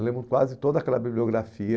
Eu lembro quase toda aquela bibliografia